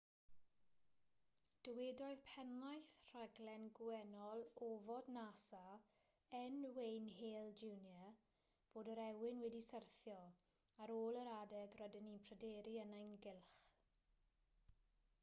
dywedodd pennaeth rhaglen gwennol ofod nasa ,n. wayne hale jr. fod yr ewyn wedi syrthio ar ôl yr adeg rydym ni'n pryderu yn ei gylch